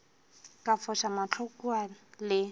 ka foša mahlo kua le